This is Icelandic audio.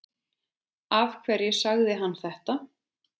Af hverju sagði hann þetta?